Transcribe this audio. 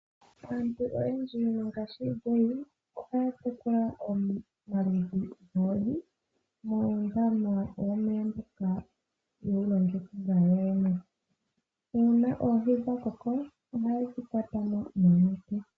Aantu oyendji mongashingeyi ohaya tekula omaludhi goohi muundama womeya mboka ye wu longekidha yoyene. Uuna oohi dha koko ohaye dhi kwata mo noonete.